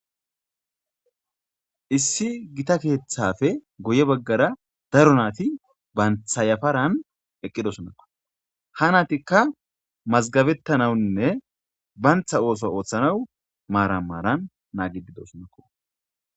Issi gita keethappe guye baggara daro naati banta yafaran eqqidosonako ha naatika mazgabetanawunne banta ootho oothanaw maaran maaran naagetidosonako.